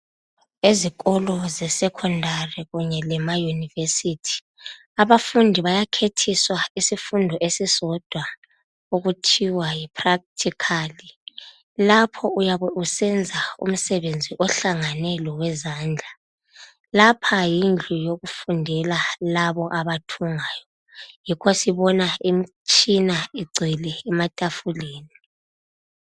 Ezikolo se secondary kumbe emaunivesithi abafundi bayakhethiswa isifundo esisodwa okuthiwa yipractical lapha uyabe usenza omsebenzi ohlangane lowe zandla lapha yindlu yokufundela yalaba abathungayo yikho sibona imitshina igcwele ematafuleni